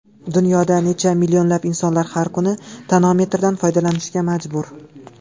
Dunyoda necha minglab insonlar har kuni tonometrdan foydalanishga majbur.